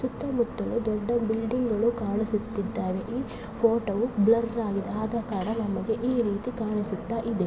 ಸುತ್ತ ಮುತ್ತಲು ದೊಡ್ಡ ಬಿಲ್ಡಿಂಗ್ ಕಾಣಿಸುತ್ತಿವೆ ಈ ಫೋಟೋ ಬ್ಲರ್ ಆಗಿದೆ ಆದ ಕಾರಣ ನಮಗೆ ಈ ರೀತಿ ಕಾಣಿಸುತ್ತಾ ಇದೆ.